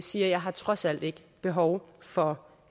siger jeg har trods alt ikke behov for